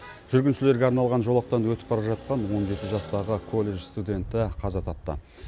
жүргіншілерге арналған жолақтан өтіп бара жатқан он жеті жастағы колледж студенті қаза тапты